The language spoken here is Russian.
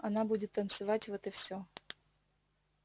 она будет танцевать вот и все